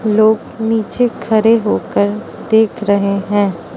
लोग नीचे खड़े होकर देख रहे हैं।